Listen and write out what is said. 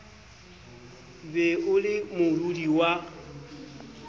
be o le modudi wa